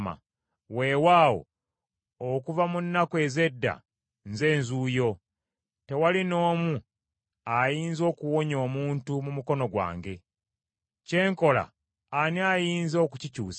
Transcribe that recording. “Weewaawo, okuva mu nnaku ez’edda Nze Nzuuyo; tewali n’omu ayinza okuwonya omuntu mu mukono gwange. Kye nkola ani ayinza okukikyusa?”